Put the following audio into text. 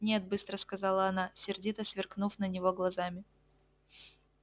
нет быстро сказала она сердито сверкнув на него глазами